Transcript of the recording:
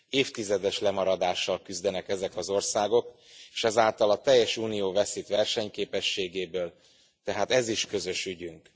Évtizedes lemaradással küzdenek ezek az országok és ezáltal a teljes Unió veszít versenyképességéből, tehát ez is közös ügyünk.